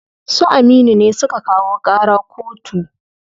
Su Aminu ne suka kawo ƙara koto.